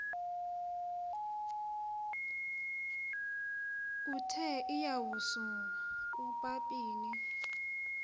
uthe iwasu ubabini